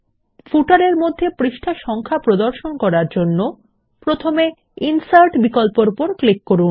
পাদলেখর মধ্যে পৃষ্ঠা নম্বর প্রদর্শন করার জন্য প্রথমে ইনসার্ট বিকল্পর উপর ক্লিক করুন